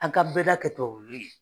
An ka bɛɛda kɛ